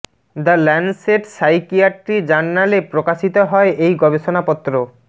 the Lancet psychiatry জার্নালে প্রকাশিত হয় এই গবেষণা পত্র